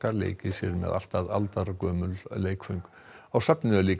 leikið sér með allt að aldargömul leikföng á safninu er líka